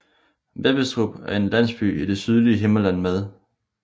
Vebbestrup er en landsby i det sydlige Himmerland med